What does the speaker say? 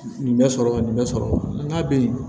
Nin bɛ sɔrɔ ka nin bɛ sɔrɔ n ka bɛ